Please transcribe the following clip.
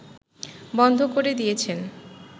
বন্ধ করে দিয়েছেন